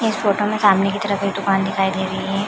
इस फोटो में सामने की तरफ एक दुकान दिखाई दे रही हैं।